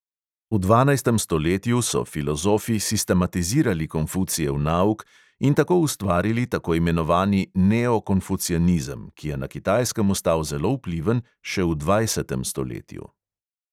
V dvanajstem stoletju so filozofi sistematizirali konfucijev nauk in tako ustvarili tako imenovani neokonfucijanizem, ki je na kitajskem ostal zelo vpliven še v dvajsetem stoletju.